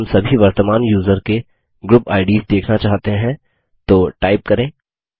यदि हम सभी वर्तमान यूज़र के ग्रुप आईडीएस देखना चाहते हैं तो टाइप करें